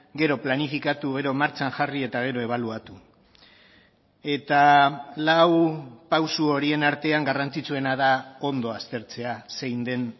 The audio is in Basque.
gero planifikatu gero martxan jarri eta gero ebaluatu eta lau pauso horien artean garrantzitsuena da ondo aztertzea zein den